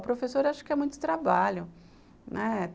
O professor acha que é muito trabalho, né?